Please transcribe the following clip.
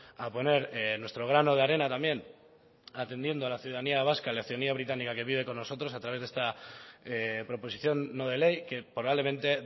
a poner nuestro grano de arena también atendiendo a la ciudadanía vasca la ciudadanía británica que vive con nosotros a través de esta proposición no de ley que probablemente